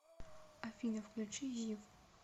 афина включи зив